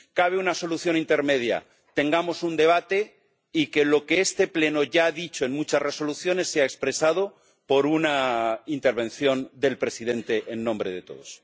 Cabe una solución intermedia tengamos un debate y que lo que este Pleno ya ha dicho en muchas resoluciones sea expresado por una intervención del presidente en nombre de todos.